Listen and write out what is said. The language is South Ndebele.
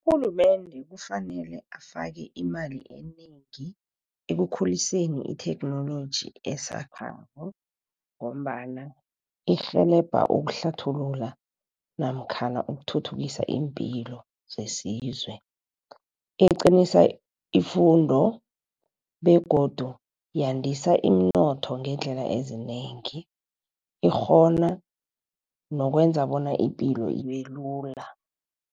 Urhulumende kufanele afake imali enengi, ekukhuliseni itheknoloji esakhasako ngombana irhelebha ukuhlathulula namkhana ukuthuthukisa iimpilo zesizwe. Iqinisa ifundo begodu yandisa iimnotho ngeendlela ezinengi, ikghona nokwenza bona ipilo ibelula.